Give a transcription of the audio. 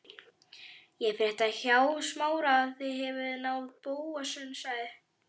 Ég frétti hjá Smára að þið hefðuð náð Bóasi sagði